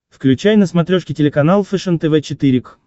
включай на смотрешке телеканал фэшен тв четыре к